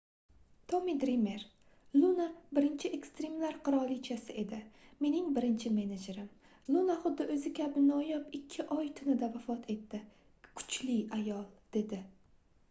tommi drimer luna birinchi ekstrimlar qirolichasi edi mening birinchi menejerim luna xuddi oʻzi kabi noyob ikki oy tunida vafot etdi kichli ayol dedi